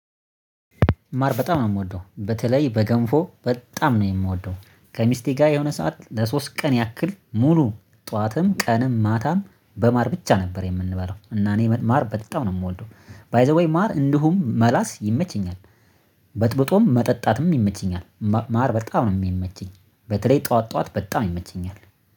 ማር በጣም ነው እምወደው በተለይ በገንፎ በጣም ነው የምወደው ከሚስቴ ጋር የሆነ ሰዓት ለሶስት ቀን ያክል ሙሉ ጠዋትም ቀንም ማታም በማር ብቻ ነበር የምንበላው። እና እኔ ማር በጣም ነው የምወደው ባይ ዘ ዌይ ማር እንዲሁ መላስ ይመቸኛል። በጥብጦም መጠጣትም ይመቸኛል ማር በጣም ነው የሚመቸኝ። በተለይ ጠዋት ጠዋት በጣም ይመቸኛል